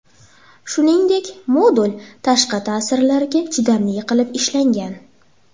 Shuningdek, modul tashqi ta’sirlarga chidamli qilib ishlangan.